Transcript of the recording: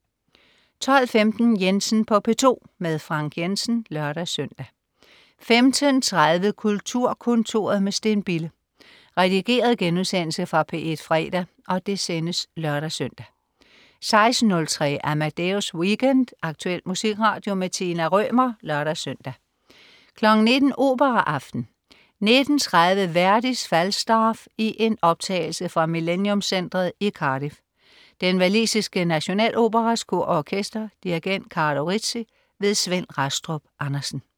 12.15 Jensen på P2. Frank Jensen (lør-søn) 15.30 Kulturkontoret med Steen Bille. Redigeret genudsendelse fra P1 fredag (lør-søn) 16.03 Amadeus Weekend. Aktuel musikradio. Tina Rømer (lør-søn) 19.00 Operaaften. 19.30 Verdis Falstaff i en optagelse fra Millenium Centret i Cardiff. Den walisiske Nationaloperas Kor og Orkester. Dirigent: Carlo Rizzi. Svend Rastrup Andersen